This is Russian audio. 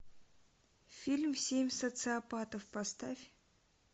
фильм семь социопатов поставь